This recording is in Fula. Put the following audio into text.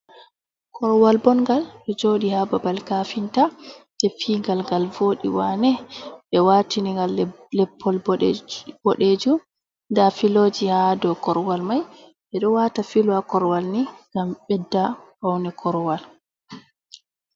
Korwal bongal ɗo jooɗi ha babal kafinta, ɓe fiyi ngal ngal vooɗi waane, ɓe waatini ngal leppol boɗejum, nda filoji ha dou korwal mai, ɓe ɗo wata filo ha korwal ni ngam ɓedda paune korwal.